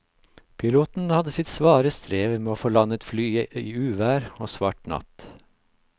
Piloten hadde sitt svare strev med å få landet flyet i uvær og svart natt.